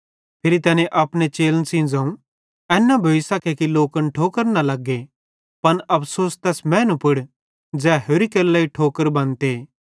फिरी तैनी अपने चेलन सेइं ज़ोवं एन न भोइसखे कि लोकन ठोकर न लग्गे पन अफ़सोस तैस मैनू पुड़ ज़ै होरि केरे लेइ ठोकर बनते